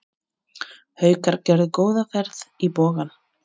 Haukar gerðu góða ferð í Bogann